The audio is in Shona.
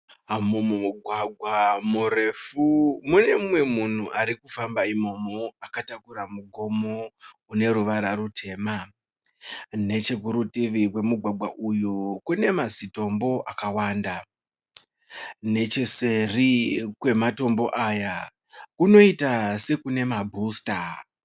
Mumugwagwa murefu mune umwe munhu ari kufamba imomo. Akatakura mugomo une ruvara rutema. Nechekurutivi kwemugwagwa uyu kune mazitombo akawanda. Necheseri kwematombo aya kunoita sekune mabhusita.